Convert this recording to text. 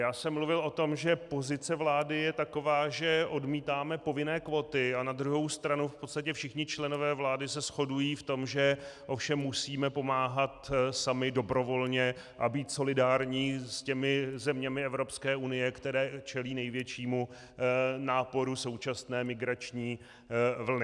Já jsem mluvil o tom, že pozice vlády je taková, že odmítáme povinné kvóty, a na druhou stranu v podstatě všichni členové vlády se shodují v tom, že ovšem musíme pomáhat sami dobrovolně a být solidární s těmi zeměmi Evropské unie, které čelí největšímu náporu současné migrační vlny.